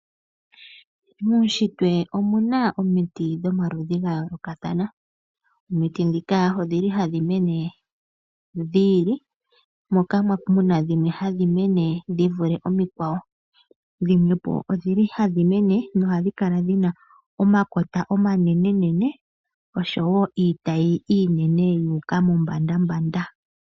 Muunshitwe omuna omiti dhomaludhi ga yoolokathana. Omiti ndhika odhi li hadhi mene dhi ili moka mu na dhimwe hadhi mene dhi vule omikwawo. Dhimwepo odhi na omakota omanenenene nosho wo iitayi iinene ya u ka mombandambanda